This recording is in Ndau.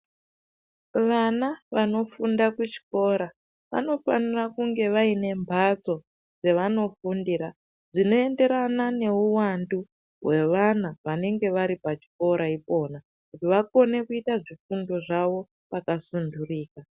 Vana vanofunda kuchikora vanofanira kunge vaine mbatso dzevanofundira dzinoenderana neuwandu hwevana venenge vari pachikora ipona kuti vakone kuita zvifundo zvavo vakasundurika.